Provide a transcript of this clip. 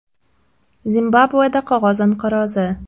Zimbabveda qog‘oz inqirozi.